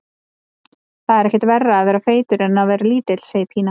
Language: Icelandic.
Það er ekkert verra að vera feitur en að vera lítill, segir Pína.